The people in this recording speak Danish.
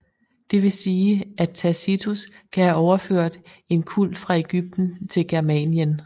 Det vil sige at Tacitus kan have overført en kult fra Ægypten til Germanien